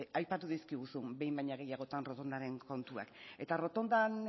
aipatu dizkiguzu behin baino gehiagotan errotondaren kontuak eta errotondan